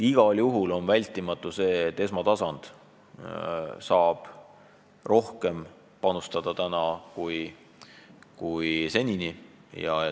Igal juhul on vältimatu see, et esmatasand saab rohkem panustada kui senini.